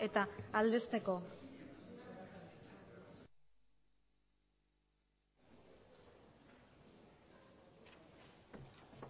eta aldezteko